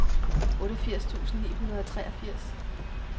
otteogfirs tusind ni hundrede og treogfirs